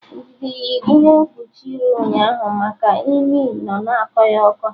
Ndidi yiri ihe mkpuchi iru ụnyaahụ maka imi nọ na akọ ya ụkọ